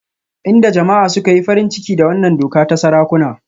Inda jama'a suka yi farin ciki da wannan doka ta sarakuna